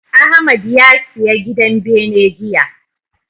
Ahmad ya siya gidan bene jiya.